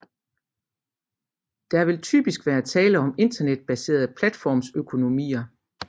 Der vil typisk være tale om internetbaserede platformsøkonomier